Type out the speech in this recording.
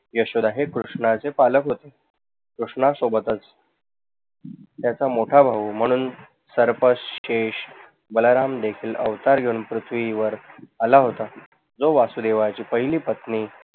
यशोदा हे कृष्णाचे पालक होते. कृष्णा सोबतच त्याचा मोठा भाऊ बलराम देशील अवतार घेऊन पृथ्वीवर आला होता. जो वसुदेवची पहिली पत्नी